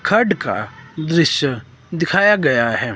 खड का दृश्य दिखाया गया है।